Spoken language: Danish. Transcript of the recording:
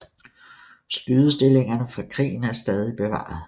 Skydestillingerne fra krigen er stadig bevaret